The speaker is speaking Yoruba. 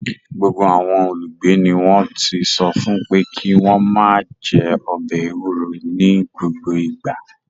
Gbogbo àwọn olùgbé ni wọ́n ti sọ fún pé kí wọ́n máa jẹ ọbẹ̀ ewuro ní gbogbo ìgbà.